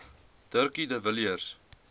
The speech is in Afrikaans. dirkie de villiers